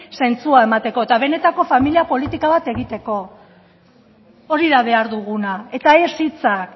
zentzua emateko eta benetako familia politika bat egiteko hori da behar duguna eta ez hitzak